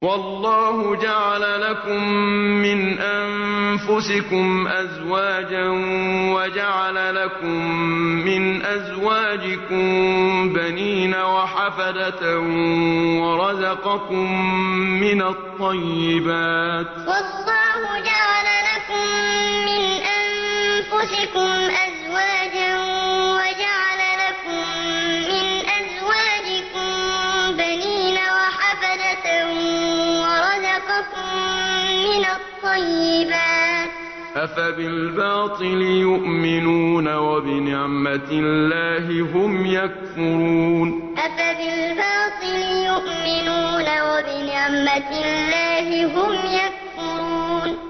وَاللَّهُ جَعَلَ لَكُم مِّنْ أَنفُسِكُمْ أَزْوَاجًا وَجَعَلَ لَكُم مِّنْ أَزْوَاجِكُم بَنِينَ وَحَفَدَةً وَرَزَقَكُم مِّنَ الطَّيِّبَاتِ ۚ أَفَبِالْبَاطِلِ يُؤْمِنُونَ وَبِنِعْمَتِ اللَّهِ هُمْ يَكْفُرُونَ وَاللَّهُ جَعَلَ لَكُم مِّنْ أَنفُسِكُمْ أَزْوَاجًا وَجَعَلَ لَكُم مِّنْ أَزْوَاجِكُم بَنِينَ وَحَفَدَةً وَرَزَقَكُم مِّنَ الطَّيِّبَاتِ ۚ أَفَبِالْبَاطِلِ يُؤْمِنُونَ وَبِنِعْمَتِ اللَّهِ هُمْ يَكْفُرُونَ